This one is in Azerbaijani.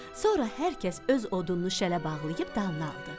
Sonra hər kəs öz odununu şələ bağlayıb dalına aldı.